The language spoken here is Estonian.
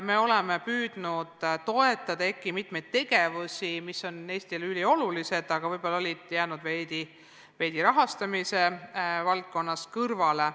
Me oleme püüdnud toetada ka EKI mitmeid tegevusi, mis on Eestile üliolulised, aga võib-olla siiani jäänud rahastamise mõttes veidi kõrvale.